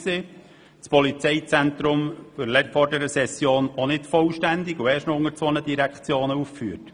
Auch das Polizeizentrum war erstens nicht vollständig und zweitens unter zwei Direktionen aufgeführt.